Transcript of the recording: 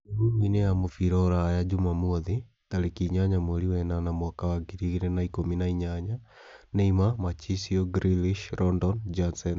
Mĩhuhu-inĩ ya mubira Uraaya Jumamothi, tarĩkĩ inyanya mweri wa ĩnana mwaka wa ngiri igĩrĩ na ikũmi na inyanya :Neymar, Marchisio, Grealish, Rondon, Janssen